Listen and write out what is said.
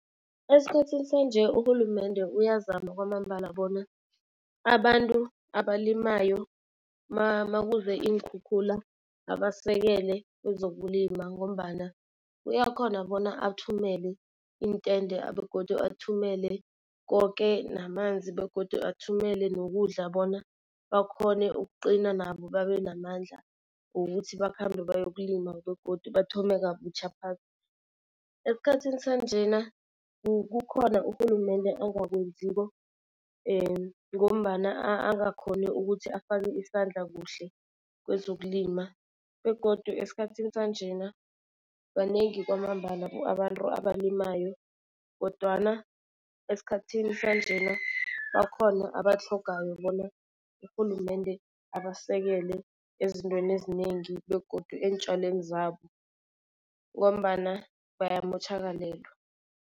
Esikhathini sanje urhulumende uyazama kwamambala bona abantu abalimayo makuze iinkhukhula abasekele kwezokulima ngombana uyakhona bona athumele iintende begodu athumele koke namanzi begodu athumele nokudla bona bakhone ukuqina nabo babe namandla wokuthi bakhambe bayokulima begodu bathome kabutjha phasi. Esikhathini sanjena kukhona urhulumende angakwenziko ngombana angakhoni ukuthi afake isandla kuhle kwezokulima. Begodu esikhathini sanjena banengi kwamambala abantu abalimayo kodwana esikhathini sanjena bakhona abatlhogako bona urhulumende abasekele ezintweni ezinengi begodu eentjalweni zabo ngombana bayamotjhakalelwa.